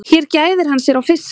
Hér gæðir hann sér á fiski.